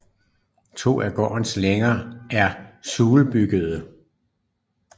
To af gårdens længer er sulebyggede